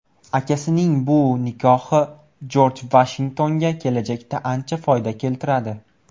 Akasining bu nikohi Jorj Vashingtonga kelajakda ancha foyda keltiradi.